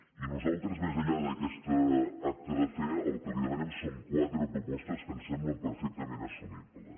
i nosaltres més enllà d’aquest acte de fe el que li demanem són quatre propostes que ens semblen perfectament assumibles